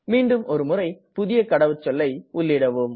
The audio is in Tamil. மீண்டும் ஒரு முறை புதிய கடவுச்சொல்லை உள்ளீடவும்